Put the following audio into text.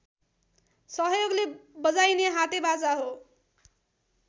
सहयोगले बजाइने हाते बाजा हो